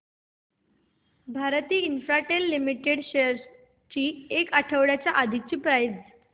Bharti Infratel limited shares ची एक आठवड्या आधीची प्राइस